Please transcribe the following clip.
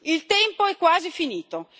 Il tempo è quasi finito.